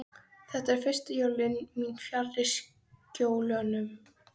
Þetta eru fyrstu jólin mín fjarri Skjólunum.